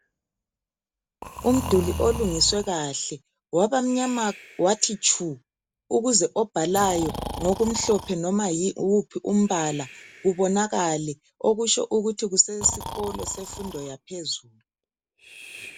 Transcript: Umduli olungiswe kahle, wabamnyama wathi tshu! Ukuze obhalayo, ngokumnyama kumbe wuphi umbala, kubonakale kuhle. Okutsho ukuthi kusesikolo, semfundo yaphezulu.